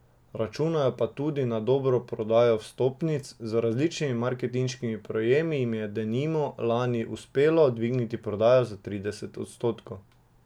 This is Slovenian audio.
Računajo pa tudi na dobro prodajo vstopnic, z različnimi marketinškimi prijemi jim je denimo lani uspelo dvigniti prodajo za trideset odstotkov.